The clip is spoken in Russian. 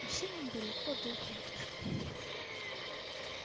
но всем им далеко до их матушки